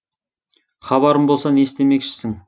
хабарым болса не істемекшісің